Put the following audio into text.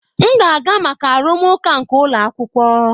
M ga-aga maka arụmụka nke ụlọ akwụkwọ.